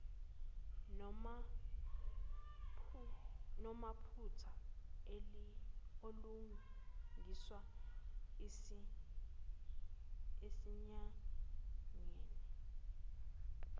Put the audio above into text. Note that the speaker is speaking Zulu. namaphutha alungiswe esinyangeni